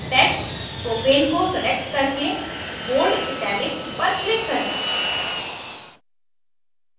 text propane को select करके bold italic पर click करें